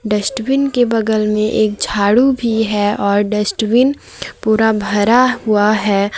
Dustbin के बगल में एक झाड़ू भी है और डस्टबिन पूरा भरा हुआ है।